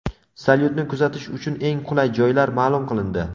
Salyutni kuzatish uchun eng qulay joylar ma’lum qilindi.